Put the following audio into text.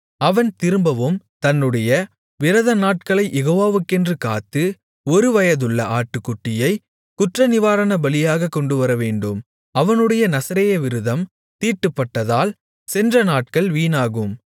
அவன் திரும்பவும் தன்னுடைய விரதநாட்களைக் யேகோவாக்கென்று காத்து ஒரு வயதுள்ள ஆட்டுக்குட்டியைக் குற்றநிவாரணபலியாகக் கொண்டுவரவேண்டும் அவனுடைய நசரேய விரதம் தீட்டுப்பட்டதால் சென்ற நாட்கள் வீணாகும்